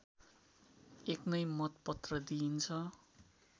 एक नै मतपत्र दिइन्छ